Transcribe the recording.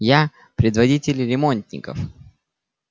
я предводитель ремонтников